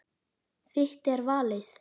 Þitt er valið.